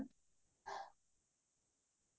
হয় হয়